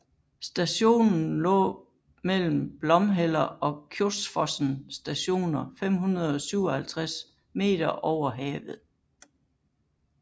Stationen lå mellem Blomheller og Kjosfossen Stationer 557 meter over havet